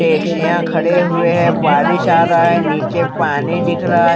टैक्सियां खड़े हुए हैं बारिश आ रहा है नीचे पानी दिख रहा है।